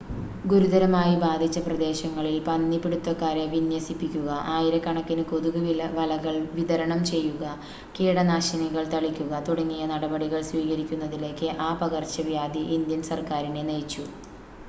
ഗുരുതരമായി ബാധിച്ച പ്രദേശങ്ങളിൽ പന്നി പിടുത്തക്കാരെ വിന്യസിപ്പിക്കുക ആയിരക്കണക്കിന് കൊതുക് വലകൾ വിതരണം ചെയ്യുക കീടനാശിനികൾ തളിക്കുക തുടങ്ങിയ നടപടികൾ സ്വീകരിക്കുന്നതിലേക്ക് ആ പകർച്ചവ്യാധി ഇന്ത്യൻ സർക്കാരിനെ നയിച്ചു